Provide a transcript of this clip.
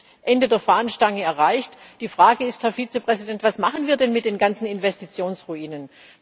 Jetzt ist das Ende der Fahnenstange erreicht. Die Frage ist, Herr Vizepräsident, was machen wir denn mit den ganzen Investitionsruinen?